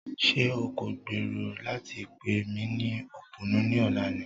Ṣé o kò gbèrò láti pè mí ní òpònú ní ọ̀la ni?